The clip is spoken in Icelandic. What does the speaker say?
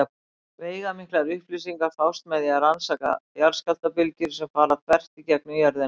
Veigamiklar upplýsingar fást með því að rannsaka jarðskjálftabylgjur sem fara þvert í gegnum jörðina.